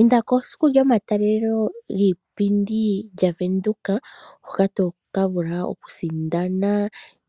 Inda kesiku lyomatalelo giipindi yavenduka, hoka tokavula okusindana